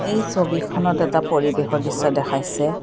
এই ছবিখনত এটা পৰিৱেশৰ দৃশ্য দেখাইছে।